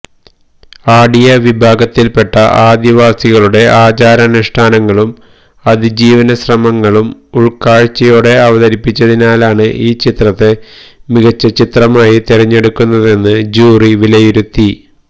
അടിയ വിഭാഗത്തില്പെട്ട ആദിവാസികളുടെ ആചാരാനുഷ്ഠാനങ്ങളും അതിജീവന ശ്രമങ്ങളും ഉള്ക്കാഴ്ചയോടെ അവതരിപ്പിച്ചതിനാലാണ് ഈ ചിത്രത്തെ മികച്ച ചിത്രമായി തെരഞ്ഞെടുക്കുന്നതെന്ന് ജൂറി വിലയിരുത്തി